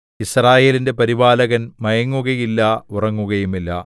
യിസ്രായേലിന്റെ പരിപാലകൻ മയങ്ങുകയില്ല ഉറങ്ങുകയുമില്ല